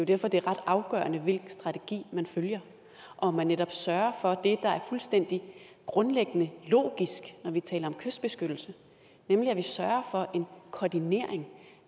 derfor det er ret afgørende hvilken strategi man følger om man netop sørger for det der er fuldstændig grundlæggende logisk når vi taler om kystbeskyttelse nemlig en koordinering og